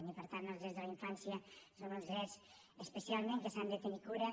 i per tant els drets de la infància són uns drets especialment dels quals s’ha de tenir cura